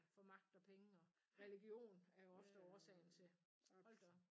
For magt og penge og religion er jo ofte årsagen til hold da op